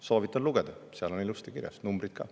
Soovitan lugeda, seal on ilusti kirjas, numbrid ka.